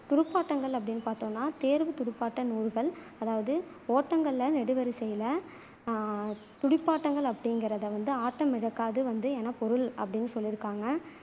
துடுப்பாட்டங்கள் அப்படின்னு பாத்தோம்னா தேர்வு துடுப்பாட்டம் நூறுகள் அதாவது ஓட்டங்கள் நெடுவரிசையில துடுப்பாட்டங்கள் அப்படிங்குறதை வந்து ஆட்டமிழக்காது வந்து எனப் பொருள் அப்படின்னு சொல்ல்லியிருக்காங்க